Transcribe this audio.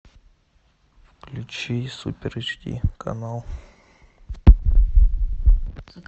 включи супер эйч ди канал